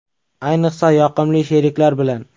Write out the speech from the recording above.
Ayniqsa yoqimli sheriklar bilan.